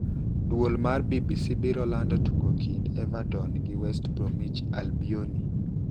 Duol mar BBC biro lanido tugo kinid Evertoni gi West Bromwich Albioni.